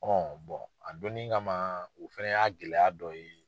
Ɔ a donni kama o fɛnɛ y'a gɛlɛya dɔ ye